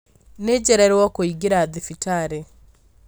Nĩnjererwo kũingĩra thibitarĩ